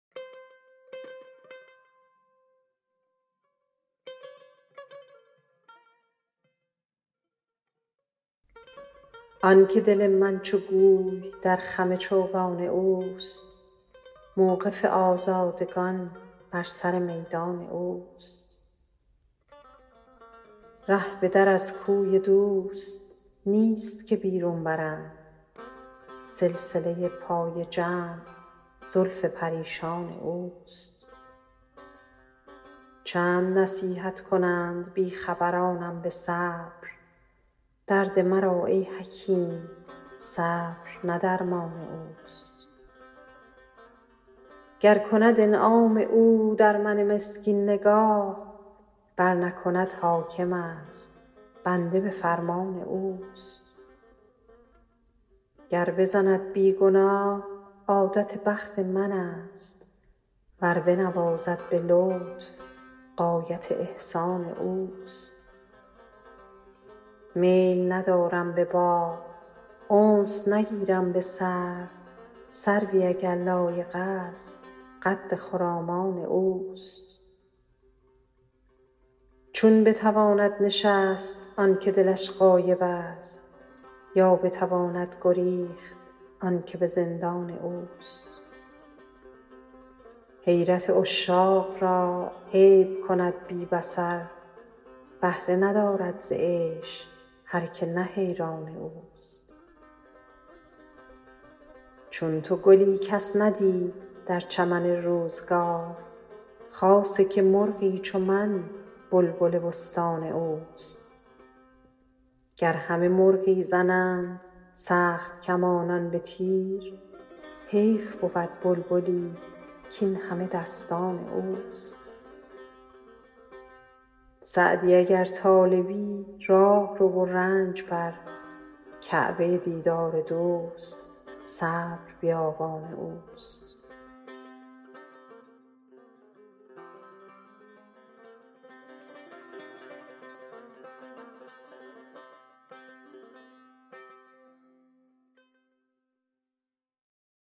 آن که دل من چو گوی در خم چوگان اوست موقف آزادگان بر سر میدان اوست ره به در از کوی دوست نیست که بیرون برند سلسله پای جمع زلف پریشان اوست چند نصیحت کنند بی خبرانم به صبر درد مرا ای حکیم صبر نه درمان اوست گر کند انعام او در من مسکین نگاه ور نکند حاکمست بنده به فرمان اوست گر بزند بی گناه عادت بخت منست ور بنوازد به لطف غایت احسان اوست میل ندارم به باغ انس نگیرم به سرو سروی اگر لایقست قد خرامان اوست چون بتواند نشست آن که دلش غایبست یا بتواند گریخت آن که به زندان اوست حیرت عشاق را عیب کند بی بصر بهره ندارد ز عیش هر که نه حیران اوست چون تو گلی کس ندید در چمن روزگار خاصه که مرغی چو من بلبل بستان اوست گر همه مرغی زنند سخت کمانان به تیر حیف بود بلبلی کاین همه دستان اوست سعدی اگر طالبی راه رو و رنج بر کعبه دیدار دوست صبر بیابان اوست